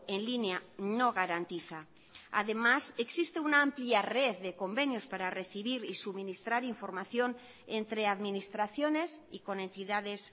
en línea no garantiza además existe una amplia red de convenios para recibir y suministrar información entre administraciones y con entidades